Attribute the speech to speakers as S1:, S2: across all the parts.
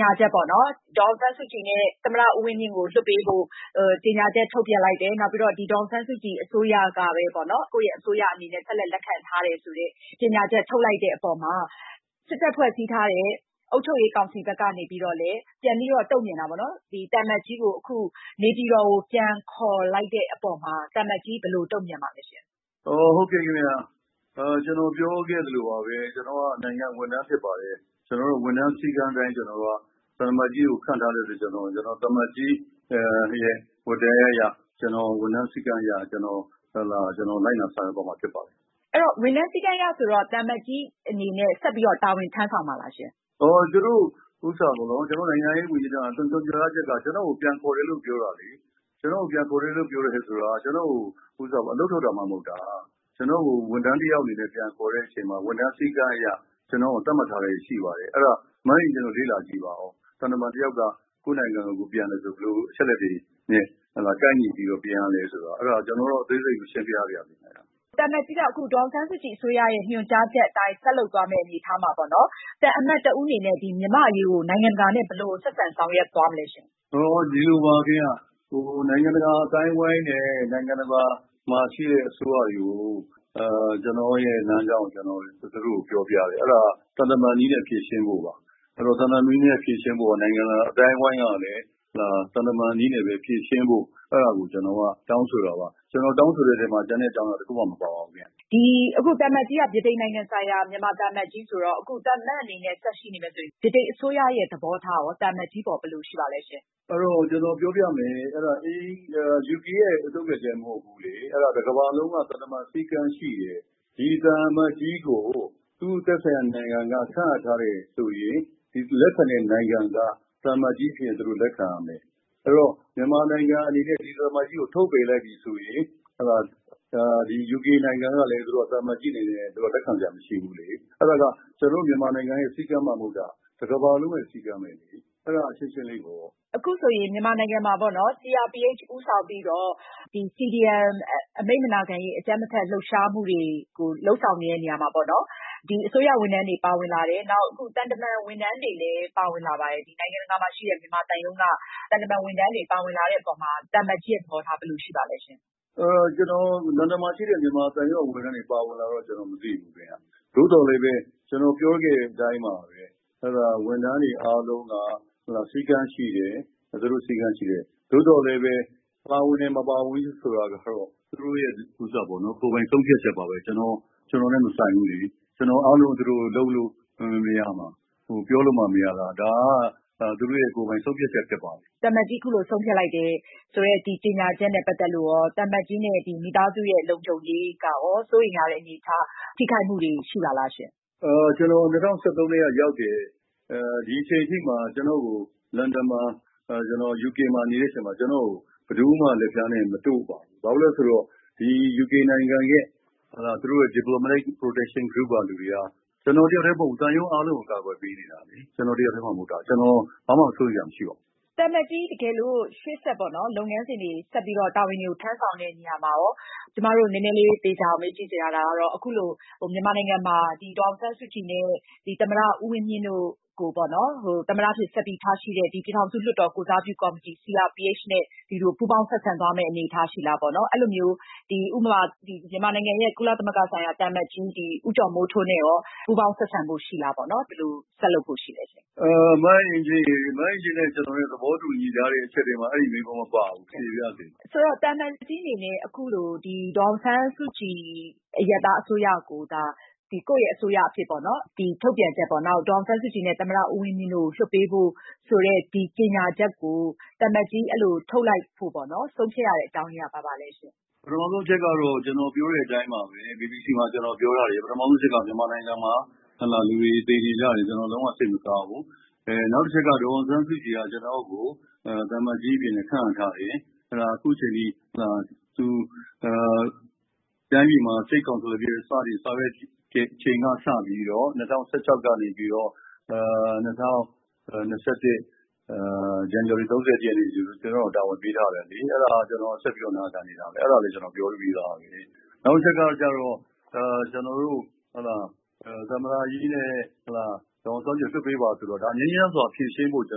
S1: ညာချက်ပေါ့နော် ဒေါ်အောင်ဆန်းစုကြည်နဲ့ သမ္မတ ဦးဝင်းမြင့်ကို လွှတ်ပေးဖို့ ကြေညာချက်ထုတ်ပြန်လိုက်တယ်။ နောက်ပြီးတော့ ဒေါ်အောင်ဆန်းစုကြည်အစိုးရကပဲ ကိုယ့်အစိုးရအနေနဲ့ ဆက်လက် လက်ခံထားတယ်ဆိုတဲ့ ကြေညာချက်ထုတ်လိုက်တဲ့အပေါ်မှာ စစ်တပ်ဖွဲ့စည်းထားတဲ့ အုပ်ချုပ်ရေးကောင်စီဘက်ကလည်း ပြန်ပြီးတော့ တုံ့ပြန်တာပေါ့နော် သံအမတ်ကြီးကို နေပြည်တော်ကို ပြန်ပြီးခေါ်ယူလိုက်တဲ့အပေါ်မှာ သံအမတ်ကြီး ဘယ်လို တံ့ုပြန်ချင်ပါသလဲရှင့်။
S2: ဟုတ်ကဲ့ခင်ဗျ ကျနော်ပြောခဲ့သလိုပါပဲ ကျနော်က နိုင်ငံ ဝန်ထမ်းဖြစ်ပါတယ်။ ဝန်ထမ်းစည်းကမ်းအတိုင်း သံအမတ်ကြီး ခန့်ထားတဲ့အတွက်ကြောင့် ကျနော်က သံအမတ်ကြီးရဲ့ ဝတ္တရားအရ စည်းကမ်းအရ ကျနော်လိုက်နာဆောင်ရွက်သွားမှာ ဖြစ်ပါတယ်။
S1: အဲဒီတော့ ဝန်ထမ်းစည်းကမ်းအရဆိုတော့ သံအမတ်ကြီး အနေနဲ့ ဆက်ပြီးတော့ တာဝန်ထမ်းဆောင်မှာလားရှင့်။
S2: နိုင်ငံခြားရေးဝန်ကြီးဌာန ညွန်ကြားချက်က ကျနော်ကို ပြန်ခေါ်တယ်လို့ ပြောတာလေ ။ ကျနော်ကို ပြန်ခေါ်တယ်ဆိုတာက ကျနော့်ကို အလုပ်ထုတ်တာမှ မဟုတ်တာ။ ကျနော့်ကို ဝန်ထမ်းတယောက်အနေနဲ့ ပြန်ခေါ်တဲ့အချိန်မှာ ဝန်ထမ်းစည်းကမ်းအရ ကျနော်တို့ကို သတ်မှတ်ထားတာတွေရှိပါတယ် အဲဒါ မအင်ကြင်းနိုင်တို့ လေ့လာကြည့်ပါဦး သံတမန်တယောက်က ကိုယ့်နိုင်ငံကို ပြန်တယ်ဆိုတာ ဘယ်လိုအချက်အလက်တွေနဲ့ ကိုက်ညီပြီးတော့ ပြန်ရသလဲဆိုတာ အဲဒါ ကျနော်ကတော့ အသေးစိတ်မရှင်းပြရစေနဲ့ အဲဒါ။
S1: သံအမတ်ကြီးက ဒေါ်အောင်ဆန်းစုကြည်အစိုးရရဲ့ ညွှန်ကြားချက်အတိုင်း ဆက်လုပ်သွားမယ့်အနေအထားမှာပေါ့နော် သံအမတ်တဦးအနေနဲ့ မြန်မာ့အရေးကို နိုင်ငံတကာနဲ့ ဘယ်လို ဆက်ဆံ ဆောင်ရွက်သွားမလဲရှင့်။
S2: ဒီလိုပါခင်ဗျ နိုင်ငံတကာအသိုင်းအဝိုင်းနဲ့ နိုင်ငံတကာမှာရှိတဲ့ အစိုးရတွေကို ကျနော့်လမ်းကြောင်းကို သူတို့ကို ပြောပြတယ် အဲဒါ သံတမန် နည်းနဲ့ ဖြေရှင်းဖို့ပါ အဲဒါ နိုင်ငံတကာအသိုင်းအဝိုင်းကလည်း သံတမန် နည်းနဲ့ ဖြေရှင်းဖို့ အဲဒါကို ကျနော်တို့ တောင်းဆိုတာပါ။ ကျနော်တောင်းဆိုတဲ့အထဲမှာ ကျန်တဲ့အကြောင်းအရာ တခုမှ မပါပါဘူး။
S1: သံအမတ်ကြီးက ဗြိတိန်နိုင်ငံဆိုင်ရာ မြန်မာသံအမတ်ကြီးဆိုတော့ အခု သံအမတ်အနေနဲ့ ဆက်ရှိနေမယ်ဆိုရင် ဗြိတိန်အစိုးရရဲ့ သဘောထားကရော သံအမတ်ကြီးအပေါ် ဘယ်လို ရှိပါသလဲရှင့်။
S2: အဲဒါ ကျနော်ပြောပြမယ် အဲဒါ UK ရဲ့ ထုတ်ပြန်ချက် မဟုတ်ဘူးလေအဲဒါ တကမ္ဘာလုံးက သံတမန်စည်းကမ်းရှိတယ် ။ ဒီ သံအမတ်ကြီးကို သူ့သက်ဆိုင်ရာ နိုင်ငံက ခန့်အပ်ထားတယ်ဆိုရင် လက်ခံတဲ့ နိုင်ငံက သံအမတ်ကြီး ဖြစ်ရင် လက်ခံရမယ် ။ အဲဒီတော့ မြန်မာနိုင်ငံအနေနဲ့ ဒီ သံအမတ်ကြီးကို ထုတ်ပယ်လိုက်ပြီဆိုရင် UK နိုင်ငံကလည်း သံအမတ်ကြီးအနေနဲ့ လက်ခံနိုင်စရာမရှိဘူးလေ အဲဒါက ကျနော်တို့ မြန်မာနိုင်ငံရဲ့ စည်းကမ်းမှ မဟုတ်တာ တကမ္ဘာလုံးရဲ့ စည်းကမ်းပဲလေ အဲဒါ ရှင်းရှင်းလေးပေါ့ ။
S1: အခုဆိုရင် မြန်မာနိုင်ငံမှာပေါ့နော် CRPH ဦးဆောင်ပြီးတော့ CDM အမိန့်မနာခံရေး အကြမ်းမဖက်လှုပ်ရှားမှုတွေကို လုပ်ဆောင်နေတဲ့နေရာမှာပေါ့နော် အစိုးရ ဝန်ထမ်းတွေ ပါလာတယ် အခု သံတမန် ဝန်ထမ်းတွေလည်း ပါဝင်လာပါတယ်။ နိုင်ငံတကာမှာ ရှိတဲ့ မြန်မာသံရုံးက သံတမန် ဝန်ထမ်းတွေ ပါဝင်လာတဲ့အပေါ်မှာ သံအမတ်ကြီးရဲ့ သဘောထား ဘယ်လိုရှိပါသလဲ။
S2: ဒီ လန်ဒန်မှာရှိတဲ့ မြန်မာသံရုံးက ဝန်ထမ်းတွေ ပါဝင်လာတာတော့ မသိဘူးခင်ဗျ။ သို့သော် ကျနော်ပြောခဲ့တဲ့ အတိုင်းပါပဲ ဝန်ထမ်းတွေအားလုံးက စည်းကမ်းရှိတယ်။ သို့သော်ပါဝင်တယ် မပါဝင်ဘူး ဆိုတာကတော့ သူတို့ရဲ့ ကိုယ်ပိုင်ဆုံးဖြတ်ချက်ပါပဲ ကျနော်နဲ့ မဆိုင်ဘူးလေ။ ကျနော်က အားလုံးကိုပြောလို့မှ မရတာ ဒါက သူတို့ရဲ့ ကိုယ်ပိုင်ဆုံးဖြတ်ချက်ဖြစ်ပါတယ်။
S1: သံအမတ်ကြီး အခုလို ဆုံးဖြတ်လိုက်တယ် ကြေညာချက်နဲ့ ပတ်သက်လို့ သံအမတ်ကြီးနဲ့ မိသားစု လုံခြုံရေးကရော စိုးရိမ်ရတဲ့ အနေအထား ၊ ထိခိုက်မှုတွေ ရှိပါသလားရှင့်။
S2: ကျနော် ၂၀၁၃ ကတည်းက ရောက်တယ်၊ ဒီအချိန်အထိ ကျနော့်ကို လန်ဒန် UK မှာ နေတဲ့အချိန်မှာ ကျနော့်ကို ဘယ်သူမှ လက်ဖျားနဲ့ မတို့ပါဘူး ။ ဘာဖြစ်လို့လဲဆိုတော့ ဒီ UK နိုင်ငံရဲ့ Diplomatic Protection Group ကလူတွေက ကျနော်တယောက်တည်းမဟုတ်ဘူး သံရုံးအားလုံးကို ကာကွယ်ပေးနေတာ။ ကျနော်တယောက်တည်းမှ မဟုတ်တာ ဘာမှ စိုးရိမ်စရာမရှိပါဘူး။
S1: သံအမတ်ကြီး တကယ်လို့ ရှေ့ဆက် လုပ်ငန်းစဉ်တွေ တာဝနတွေကို ထမ်းဆောင်တဲ့နေရာမှာရော ကျမတို့ နည်းနည်းသေချာအောင် မေးကြည့်ချင်တာကတော့ အခုလို မြန်မာနိုင်ငံမှာ ဒေါ်အောင်ဆန်းစုကြည်နဲ့ သမ္မတ ဦးဝင်းမြင့်တို့ကို သမ္မတအဖြစ်ဆက်ပြီး ထားရှိတဲ့ ပြည်ထောင်စုလွှတ်တော် ကိုယ်စားပြုကော်မတီ CRPH နဲ့ ပူးပေါင်းဆက်ဆံသွားမယ့် အနေအထားရှိသလားပေါ့နော်။ အဲဒီလိုမျိုး မြန်မာနိုင်ငံရဲ့ ကုလဆိုင်ရာ သံအမတ်ကြီး ဦးကျော်မင်းထွန်းနဲ့ရော ပူးပေါင်းဆက်ဆံဖို့ ရှိလားပေါ့နော်။ ဘယ်လို ဆက်လုပ်ဖို့ ရှိသလဲရှင့်။
S2: မအင်ကြင်းနိုင်ရေ မအင်ကြင်းနိုင် သဘောတူညီထားတဲ့အချက်ထဲမှာ အဲဒီမေးခွန်းမပါပါဘူး မဖြေပါရစေနဲ့။
S1: ဆိုတော့ သံအမတ်ကြီးအနေနဲ့ အခုလိုဒီ ဒေါ်အောင်ဆန်းစုကြည် အရပ်သားအစိုးရကို ကိုယ့်အစိုးရအနေနဲ့ ထုတ်ပြန်ချက်ပေါ့နော် ၊ နောက် ဒေါ်အောင်ဆန်းစုကြည်နဲ့ သမ္မတ ဦးဝင်းမြင့်တို့ကို လွှတ်ပေးဖို့ ဆိုတဲ့ ကြေညာချက်ကို သံအမတ်ကြီးအဲလို ထုတ်လိုက်ဖို့ ဆုံးဖြတ်ရတဲ့ အကြောင်းအရင်းက ဘာပါလဲရှင့်။
S2: ပထမဦးဆုံးအချက်ကတော့ ကျနော်ပြောတဲ့အတိုင်းပါပဲ BBC မှာ ကျနော်ပြောထားတယ်၊ ပထမဦးဆုံးအချက်က မြန်မာနိုင်ငံမှာ လူတွေ သေကျေကြတယ် ကျနော်လုံး၀ စိတ်မကောင်းဘူး။ နောက်တချက်က ဒေါ်အောင်ဆန်းစုကြည်က ကျနော့်ကို သံအမတ်ကြီးအနေနဲ့ ခန့်အပ်ထားတယ်။ အခုအချိန်အထိ သူ State Counsellor အဖြစ် စတင်ဆောင်ရွက်တဲ့ အချိန်ကစပြီးတော့ ၂၀၁၆ ကနေပြီးတော့ ၂၀၂၁ ဇန်နဝါရီ ၃၁ ရက်နေ့အထိ ကျနော့်ကို တာဝန်ပေးထားတယ်လေ။ အဲဒါ ကျနော်ဆက်ပြီးတော့ နာခံနေတာပဲ အဲဒါလေး ကျနော်ပြောပြီးသွားပြီ။ နောက်တချက်ကတော့ ကျနော်တို့ သမ္မတကြီးနဲ့ ဒေါ်အောင်ဆန်းစုကြည်ကို လွှတ်ပေးပါ ဆိုတာ ငြိမ်းချမ်းစွာ ဖြေရှင်းဖို့ ကျ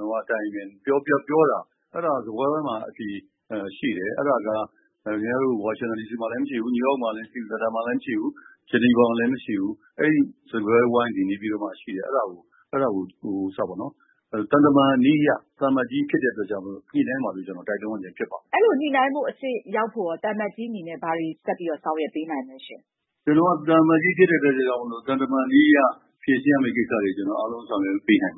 S2: နော်ပြောတာ ၊ အဲဒါ စားပွဲဝိုင်းမှာရှိတယ် အဲဒါက လန်ဒန်မှာလည်း မရှိဘူး၊ ခင်ဗျားတို့ ဝါရှင်တန်ဒီစီမှာလည်း မရှိဘူး၊ New York မှာလည်း မရှိဘူး။ Geneva မှာလည်း မရှိဘူး။ အဲဒီ စားပွဲဝိုင်းသည် နေပြည်တော် မှာပဲ ရှိတယ် အဲဒါကို သံတမန်နည်းအရ သံအမတ်ကြီးဖြစ်တဲ့အတွက် ညှိနှိုင်းပါလို့ ကျနော် တိုက်တွန်းရခြင်းဖြစ်ပါတယ်။
S1: အဲဒီလို ညှိနှိုင်းမှုအဆင့်ရောက်ဖို့ သံအမတ်ကြီး အနေနဲ့ ဘာတွေ ဆက်ပြီးတော့ ဆောင်ရွက်ပေးနိုင်မလဲရှင့်
S2: ကျနော်က သံအမတ်ကြီးဖြစ်တဲ့အတွက် သံတမန်နည်းအရ ဖြေရှင်းရမယ့်ကိစ္စတွေ ကျနော်အားလုံးဆောင်ရွက်ပေးနိုင်ပါ